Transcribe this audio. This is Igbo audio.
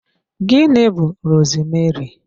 Gịnị bú rosmeri?